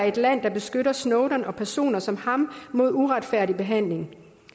et land der beskytter snowden og personer som ham mod uretfærdig behandling